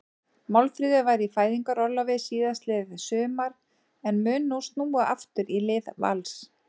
Málfríður var í fæðingarorlofi síðastliðið sumar en mun nú snúa aftur í lið Vals.